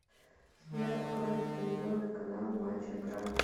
сбер открой телевизионный канал матч игра